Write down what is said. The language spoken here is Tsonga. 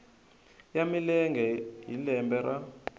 ya milenge hi lembe ra